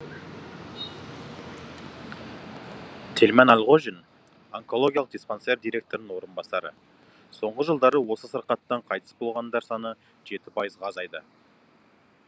тельман әлғожин онкологиялық диспансер директорының орынбасары соңғы жылдары осы сырқаттан қайтыс болғандар саны жеті пайызға азайды